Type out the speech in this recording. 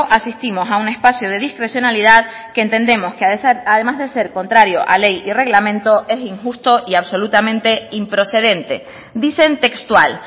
asistimos a un espacio de discrecionalidad que entendemos que además de ser contrario a ley y reglamento es injusto y absolutamente improcedente dicen textual